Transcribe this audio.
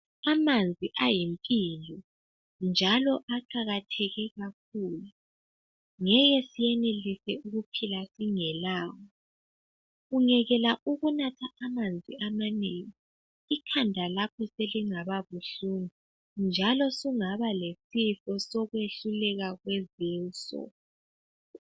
Amanzi ayimpilo njalo aqakatheke kakhulu ngeke siyenelise ukuphila singelawo ungekela ukunatha amanzi amanengi ikhanda lakho selingaba buhlungu njalo sungaba lesifo sokwehluleka kwezinso